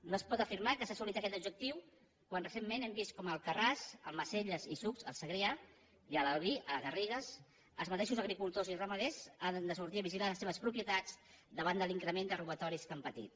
no es pot afirmar que s’ha assolit aquest objectiu quan recentment hem vist com a alcarràs almacelles i sucs al segrià i a l’albi a les garrigues els mateixos agricultors i ramaders han de sortir a vigilar les seves propietats davant de l’increment de robatoris que han patit